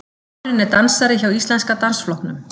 Maðurinn er dansari hjá Íslenska dansflokknum